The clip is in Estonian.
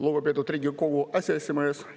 Lugupeetud Riigikogu aseesimees!